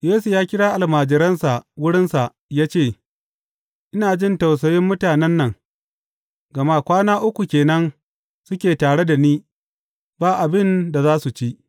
Yesu ya kira almajiransa wurinsa ya ce, Ina jin tausayin mutanen nan; gama kwana uku ke nan suke tare da ni ba abin da za su ci.